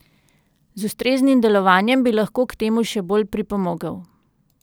Z ustreznim delovanjem bi lahko k temu še bolj pripomogel.